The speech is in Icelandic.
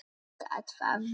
Gat það verið.?